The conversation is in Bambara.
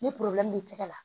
Ni b'i tɛgɛ la